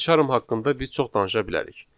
Payçarm haqqında biz çox danışa bilərik.